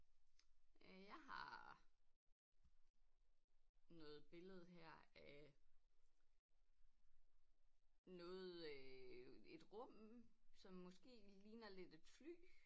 Øh jeg har noget billede her af noget øh et rum som måse ligner lidt et fly